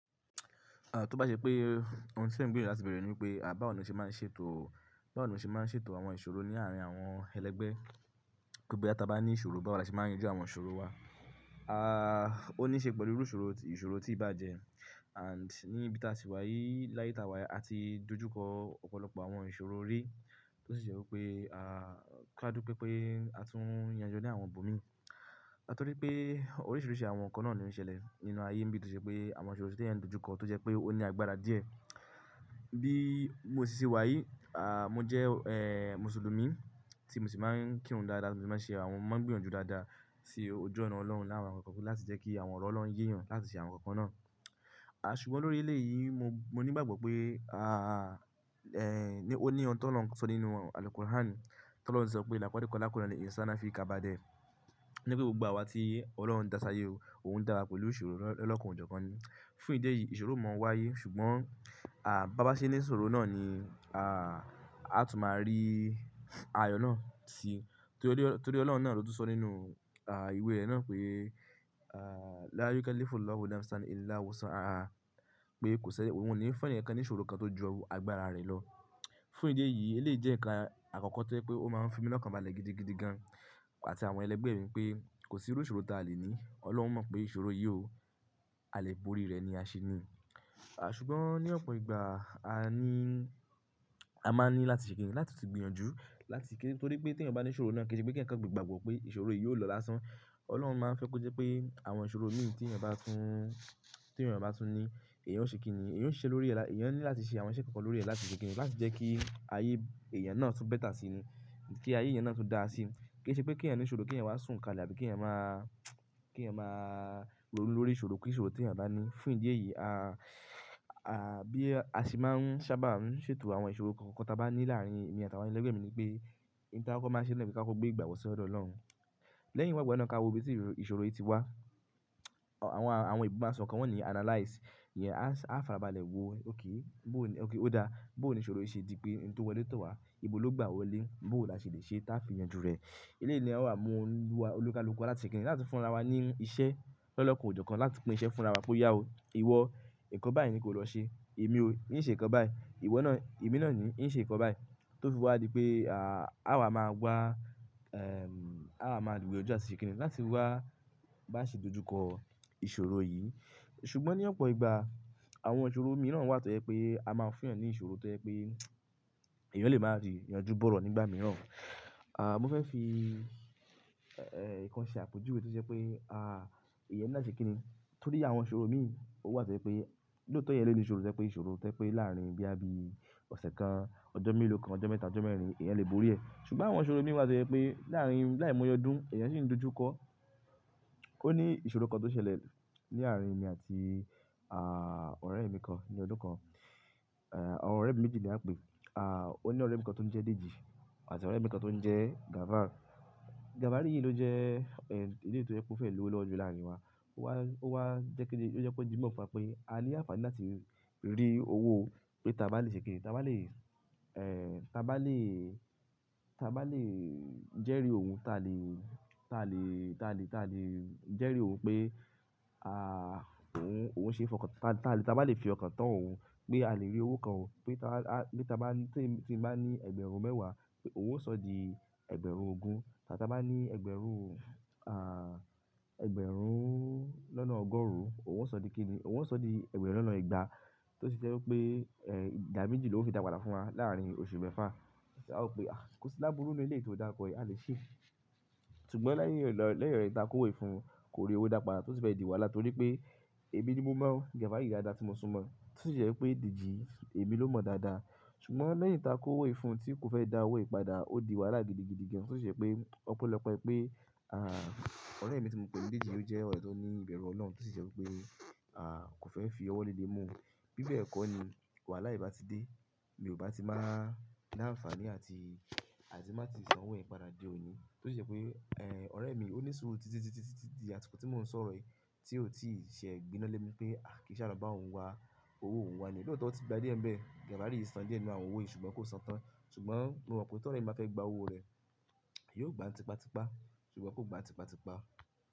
À, tó bá ṣe pé ohun tí ẹ̀ ń gbìyànjú láti béèrè ni pé à báwo ni mó ṣe máa ń ṣètò, báwo ní mó ṣe máa ń ṣètò àwọn ìṣòro ní àárín àwọn ẹlẹgbẹ́. Pé bóyá ta bá ní ìṣòro báwo là ṣe máa ń yanjú àwọn ìṣòro wa. À, ó ní í ṣe pẹ̀lú irú ìṣòro, ìṣòro tí í bá jẹ. And ní ibi tí a sì wà yìí, láyé tí a wà yìí, a ti dojúkọ ọ̀pọ̀lọpọ̀ àwọn ìṣòro rí tó sì jẹ̀ wí pé à, kí á dùpe pé pé a tún yanjú ní àwọn bòmíítì. Nítorí pé oríṣìíríṣìí àwọn nǹkan náà ni ó ń ṣẹlẹ̀ nínú ayé ń bí tó ṣe pé àwọn ìṣòro tí ó lè dojúkọ tó jẹ́ pé ó ní àgbára díẹ̀. Bí mo ṣì ṣe wà yìí, à, mo jẹ́, ẹ́, Mùsùlùmí tí mo sì máa ń kírun dáadáa, tí mo sì máa ń ṣe àwọn, máa ń gbìyànjú dáadáa sí ojú ọ̀nà Ọlọ́run láàárín àwọn nǹkan kan láti jẹ́ kí àwọn ọ̀rọ̀ Ọlọ́run yéyàn láti ṣe àwọn nǹkan kan náà. A ṣùgbọ́n lórí eleyìí mo, mo ní ìgbàgbọ́ pé a, ẹ́, ní ó ní ohun tí Ọlọ́run sọ nínú àlùkùran. Tí Ọlọ́run ṣe sọ pé "Lákódikọ̀ lákùraní ìṣáná fi ka bá dẹ." Ní pé gbogbo àwa tí Ọlọ́run dá sí ayé yìí, òun dá wa pẹ̀lú ìṣòro lọ́, lọ́kan o jọ̀kan ni. Fún ìdí èyí ìṣòro o máa ń wáyé ṣùgbọ́n à bá bá ṣe ní ìṣòro náà ni à, a tún máa rí ayọ̀ náà sí i. Torí ọ̀, torí ọlọ́run náà ló tún sọ nínú, à, ìwé rẹ̀ náà pé, à, "Lára yín kẹ́lẹ́ fún Ọlọ́run láti san ẹni láwọ̀sàn ara pé kò ṣẹ-- ohun ò ní fẹ́ ẹni kankan ní ìṣòro kan tó jọ àgbára rẹ̀ lọ." Fún ìdí èyí ilẹ̀ yìí jẹ́ nǹkan àkọ́kọ́ tó jẹ́ pé ó máa ń fi mi lọ́kàn balẹ̀ gidigidi gan-an àti àwọn ẹlẹgbẹ́ mi pé kò sí irú ìṣòro tá a lè ní. Ọlọ́run mọ̀ pé ìṣòro yìí ò. A lè borí rẹ̀ ni a ṣe ni. A ṣùgbọ́n ní ọ̀pọ̀ ìgbà a ní, a máa ní láti ṣe kìn-ín láti tì gbìyànjú láti kí-- nítorí pé tí ẹni bá ní ìṣòro náà kì í ṣe pé kí ẹnìkan gbé ìgbàgbọ́ pé ìṣòro yìí ó lọ lásán. Ọlọ́run máa ń fẹ́ kó jẹ́ pé àwọn ìṣòro míì tí ẹni bá tún, tí ẹni bá tún ní èèyàn ó ṣe kíni, èèyàn ó ṣe lórí rẹ̀ lá-- èèyàn ní láti ṣe àwọn iṣẹ́ kankan lórí rẹ̀ láti ṣe kìn-ín láti jẹ́ kí ayé èèyàn náà tún bẹ́tà sí ni. Kí ayé èèyàn náà tún dáa sí. Kì í ṣe pé kí ẹnì kan ní ìṣòro kí ẹnì wá sùn kalẹ̀ àbí kí ẹnì máa, kí ẹnì máa ronú lórí ìṣòro kí ìṣòro tí ẹnì bá ní. Fún ìdí èyí a, à, bí a sì máa ń sábà ń ṣètò àwọn ìṣòro kankan tí a bá ní láàárín èmi àti àwọn ẹlẹgbẹ́ mi ní pé nǹkan kan máa ṣe nílẹ̀ kí a tó gbé ìgbàgbọ́ sí ọ̀rọ̀ Ọlọ́run. Lẹ́yìn ìgbàgbọ́ náà ká wó bí tí ìṣòro yìí ti wá. Àwọn, àwọn ìgbàgbọ́ kan wọ́n ní analyze. Ìyẹn a, a fara balẹ̀ wo ókè bóò ni, ókè ó dá, bóò ni ìṣòro yìí ṣe di pé nǹkan tó wọlé tọ̀ wá ibo ló gbà á wọlé, bóò la ṣe lè ṣe táa fi yanjú rẹ̀. Ilẹ̀ yìí ni a wà mú ńlú wa olúkalúkọ láti ṣe kìn-ín láti fúnra wa ní iṣẹ́ lọ́lọ́kọ̀ jọ̀kan láti pín iṣẹ́ fúnra wa pé ìyà ó, ìwọ nǹkan báyìí ni kó lọ ṣe, èmi o ní ṣe nǹkan báyìí, ìwọ náà, èmi náà ni yín ṣe nǹkan báyìí. Tó fi wá di pé à, à wa máa gbá, ẹ́m, à wa máa dìwọ́ jọ́ àti ṣe kìn-ín láti wá bá ṣe dojúkọ ìṣòro yìí. Ṣùgbọ́n ní ọ̀pọ̀ ìgbà àwọn ìṣòro míì náà wá tó ẹ pé a máa ń fún ìyàn ní ìṣòro tó ẹ pé èèyàn lè máa fi yanjú bọ́rọ̀ nígbà mìíràn. À, mo fẹ́ fi, ẹ́, nǹkan ṣe àpèjúwe tí ó ṣe pé, à, èèyàn ní láti ṣe kìn-ín. Torí àwọn ìṣòro míì ó wá tó ẹ pé bí ó tó yẹ ilé nì ìṣòro tẹ́lẹ̀ pé ìṣòro tẹ́lẹ̀ pé láàárín bíá bí ọ̀sẹ̀ kan, ọjọ́ méèlóó kan, ọjọ́ mẹ́ta, ọjọ́ mẹ́rin èèyàn lè borí ẹ̀. Ṣùgbọ́n àwọn ìṣòro míì wá tó ẹ pé láàárín, láìmọye ọdún èèyàn sì ń dojúkọ. Ó ní ìṣòro kan tó ṣẹlẹ̀ ní àárín èmi àti, à, ọ̀rẹ́ mi kan ní ọdún kan. Ẹ̀, àwọn ọ̀rẹ́ mi méjì ni à ń pè é. À, ó ní ọ̀rẹ́ mi kan tó ń jẹ́ Dèjì àti ọ̀rẹ́ mi kan tó ń jẹ́ Gàbár. Gàbár yìí ló jẹ́, ẹ́, ìdí tó jẹ́ kó fẹ́ lúwọ́ jù láàárín wa. Ó wá, ó wá jẹ́ kí-- ó jẹ́ pé ó di mọ̀ fún wa pé a ní àǹfààní láti rí owó pé ta bá lè ṣe kìn-ín, ta bá lè, ẹ́, ta bá lè, ta bá lè jẹ́rìí òun, ta lè, ta lè, ta lè, ta lè jẹ́rìí òun pé, à, òun, òun ṣe é fọkàn tán, ta lè, ta bá lè fi ọkàn tán òun pé a lè rí owó kan. Pé ta a, pé ta bá ní, tí, tí bá ní ẹgbẹ̀rún mẹ́wàá pé òun ó sọ di ẹgbẹ̀rún ogún. Tàbí ta bá ní ẹgbẹ̀rún, à, ẹgbẹ̀rún lọ́nà ọgọ́rùn-ún òun ó sọ di kíni, òun ó sọ di ẹgbẹ̀rún lọ́nà igba. Tó sì ṣe wí pé, ẹ́, ìjà méjì ló fi dàpàlà fún wa láàárín oṣù mẹ́fà. A sì wí pé, "À, kò sí lábúrú ní ilẹ̀ tí ò dápa kọ ẹ́, a lè ṣe é." Ṣùgbọ́n lẹ́yìn rẹ̀ lọ, lẹ́yìn rẹ̀ tí a kó wé fún un kó rí owó dàpàlà tó ti fẹ́ di wàhálà torí pé èmi ni mo mọ̀ ọ́n Gàbár yìí dáadáa tí mo sún mọ̀ ọ́n. Tó sì ṣe wí pé Dèjì èmi ló mọ̀ dáadáa. Ṣùgbọ́n lẹ́yìn tí a kó wé fún un tí kò fẹ́ dá owó ìpadà, ó di wàhálà gidigidi gan-an tó sì ṣe pé ọ̀pọ̀lọpọ̀ ẹ pé, à, ọ̀rẹ́ mi tí mo ń pe ní Dèjì ló jẹ́ ọ̀rẹ́ tó ní ìbẹ̀rù Ọlọ́run tó sì ṣe wí pé, à, kò fẹ́ fi ọwọ́ lé lé mọ́ o. Bí bẹ́ẹ̀ kọ́ ni wàhálà yìí bá ti dé mi ò bá ti máa ní àǹfààní àti, àti má tíì san owó ìpadà dé o yín. Tó sì ṣe pé, ẹ́, ọ̀rẹ́ mi ó ní ìṣòro títitítítítí àti kó tí mò ń sọ̀rọ̀ yìí tí ò tíì ṣe gbiná lé mi pé, "Àì kí sì àlọ́ bá òun wá, owó òun wá ni." Bí ó tó ti gba dé ẹ̀mí ẹ̀, Gà.